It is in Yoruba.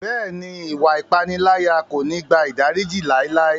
Bẹ́ẹ̀ni, iwạ ipanilaya ko ni gba idariji laelae.